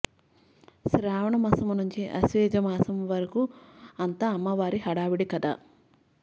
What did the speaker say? శ్రావణమసము నుంచి అశ్వ యుజము వరకు అంతా అమ్మవారి హడావిడి కదా